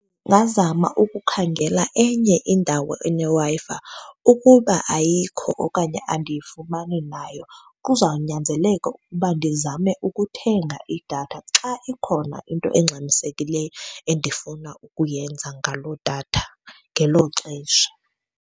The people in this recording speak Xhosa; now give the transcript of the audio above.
Ungazama ukukhangela enye indawo eneWi-Fi. Ukuba ayikho okanye andiyifumani nayo, kuzawunyanzeleka ukuba ndizame ukuthenga idatha xa ikhona into engxamisekileyo endifuna ukuyenza ngaloo datha ngelo xesha.